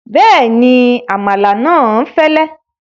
Bẹ́ẹ̀ni, àmàlà náà fẹ́lẹ́